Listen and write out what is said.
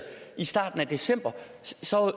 i starten af december